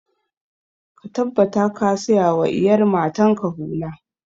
Ka tabbata ka saya wa iyar matan ka hula!